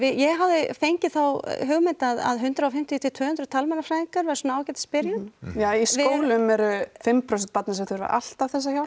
ég hafði fengið þá hugmynd að hundrað og fimmtíu til tvö hundruð talmeinafræðingar væru svona ágætis byrjun ja í skólum eru fimm prósent barna sem þurfa alltaf þessa hjálp